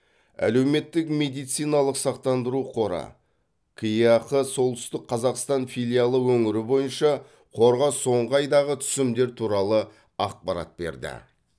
әлеуметтік медициналық сақтандыру қоры кеақ солтүстік қазақстан филиалы өңір бойынша қорға соңғы айдағы түсімдер туралы ақпарат берді